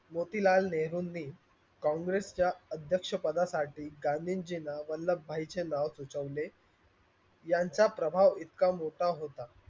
मोतीलाल नेहरूंनी कांग्रेस च्या अध्यक्ष पदासाठी गांधीजीना वल्लभ भाई चे नाव सुचवले यांचा प्रभाव इतका मोठा होता.